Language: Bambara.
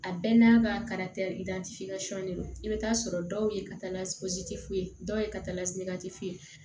A bɛɛ n'a ka don i bɛ taa sɔrɔ dɔw ye ka taa f'u ye dɔw ye ka taa fu ye